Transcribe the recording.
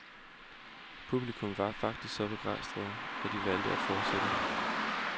Publikum var faktisk så begejstret, at de valgte at fortsætte.